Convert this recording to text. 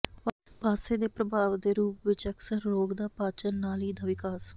ਪਾਸੇ ਦੇ ਪ੍ਰਭਾਵ ਦੇ ਰੂਪ ਵਿਚ ਅਕਸਰ ਰੋਗ ਦਾ ਪਾਚਨ ਨਾਲੀ ਦਾ ਵਿਕਾਸ